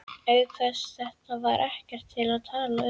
Auk þess, þetta var ekkert til að tala um.